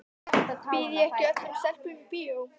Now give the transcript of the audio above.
Býð ég ekki öllum stelpum í bíó?